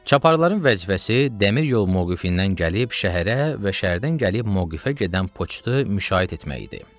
Çaparın vəzifəsi dəmiryol moqifindən gəlib şəhərə və şəhərdən gəlib moqifə gedən poçtu müşayiət etmək idi.